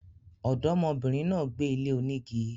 Ọ̀dọ́mọ bìnrin náà gbé ilé onígi